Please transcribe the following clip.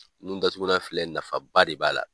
Nun datugulan filɛ nafa ba de b'a la.